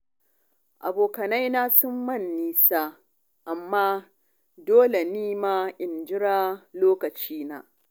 Abokaina sun mun nisa amma dole ni ma in jira lokacina.